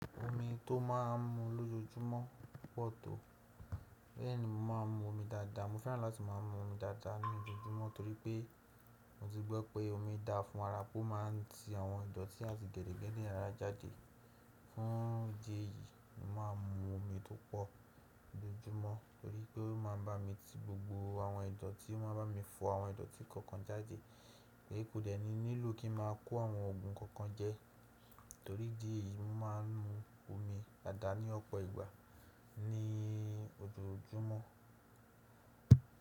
Omi tó máa ń mu lójoojúmọ́ pọ̀ tó. Bẹ́ẹ̀ ni mo máa ń mu omi dáadáa. Mo fẹ́ràn láti má a mu omi dáadáa ní ojoojúmọ́ torí pé mo ti gbọ́ pé omi dáa fún ara pé ó máa ń ti àwọn ìdọ̀tí àti gẹ́dẹ́gẹ́dẹ́ ara jáde. Fún ìdí èyí, mo máa ń mu omi tó pọ̀ lójoojúmọ́ torí pé ó máa ń bá mi ti gbogbo àwọn ìdọ̀tí, ó máa ń bá mi fọ àwọn ìdọ̀tí kọ̀ọ̀kan jáde, kò dẹ́ni nílò kí n má a kó àwọn òògùn kankan jẹ. Torí idí èyí, mo má a ń mu omi dáadáa ní ọ̀pọ̀ ìgbà ní ojoojúmọ́.